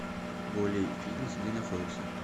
волей фитнес где находится